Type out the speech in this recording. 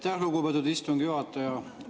Aitäh, lugupeetud istungi juhataja!